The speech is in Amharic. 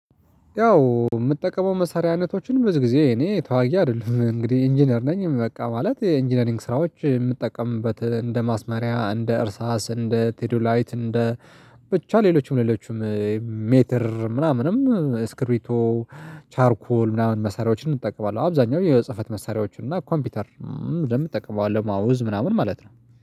ያው የምጠቀመው መሳሪያ አይነቶችን ብዙ ጊዜ እኔ ተዋጊ አይደለሁም እንግዲህ ኢንጂነር ነኝ። በቃ ማለት የኢንጂነሪንግ ስራዎች የምጠቀምበት እንደ ማስመሪያ እንደ እርሳስ እንደ ቴዶላይት እንደ ብቻ ሌሎችም ሌሎችም ሜትር ምናምንም ስክሪቶ ቻርኩል ምናምን መሳሪያዎችን እጠቀማለሁ። አብዛኛው የጽህፈት መሳሪያዎችን እና ኮምፒውተር እንደምትጠቀመው ማውዝ ምናምን ማለት ነው